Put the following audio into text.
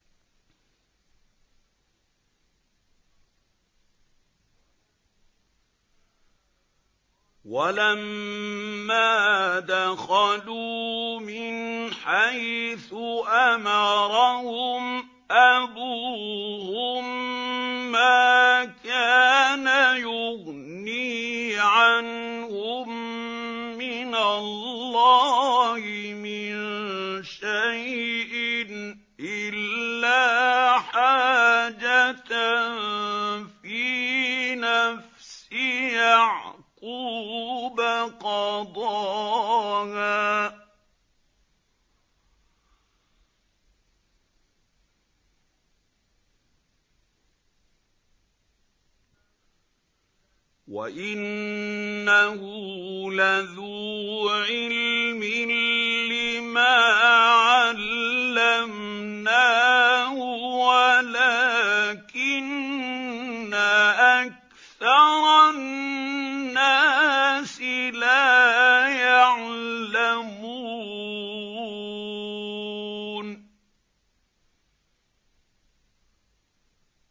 وَلَمَّا دَخَلُوا مِنْ حَيْثُ أَمَرَهُمْ أَبُوهُم مَّا كَانَ يُغْنِي عَنْهُم مِّنَ اللَّهِ مِن شَيْءٍ إِلَّا حَاجَةً فِي نَفْسِ يَعْقُوبَ قَضَاهَا ۚ وَإِنَّهُ لَذُو عِلْمٍ لِّمَا عَلَّمْنَاهُ وَلَٰكِنَّ أَكْثَرَ النَّاسِ لَا يَعْلَمُونَ